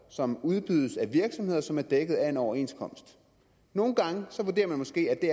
som udbydes af virksomheder som er dækket af en overenskomst nogle gange vurderer man måske at det